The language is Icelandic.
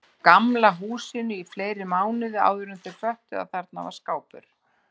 Gamla húsinu í fleiri mánuði áðuren þau föttuðu að þarna var skápur.